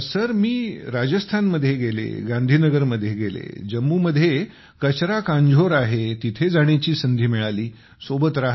मी राजस्थानमध्ये गेले गांधी नगर मध्ये गेले जम्मू मध्ये कचरा कांझोर आहे तिथे जाण्याची संधी मिळाली सोबत राहता आले